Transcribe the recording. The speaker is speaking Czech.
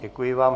Děkuji vám.